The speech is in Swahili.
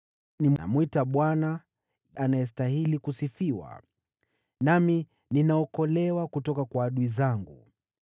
Ninamwita Bwana , anayestahili kusifiwa, nami ninaokolewa kutoka kwa adui zangu.